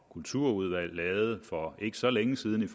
kulturudvalg havde for ikke så længe siden